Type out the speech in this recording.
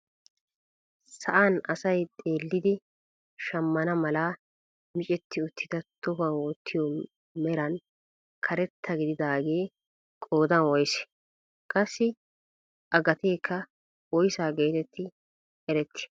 Sa'aan asay xeellidi shammana mala micetti uttida tohuwaan wottiyoo meran karetta gididaagee qoodan woysee? qassi a gateekka woysa getetti erettii?